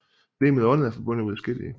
Legemet og ånden er forbundet og uadskillelige